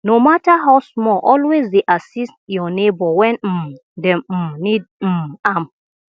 no mata how small always dey assist yur neibor wen um dem um nid um am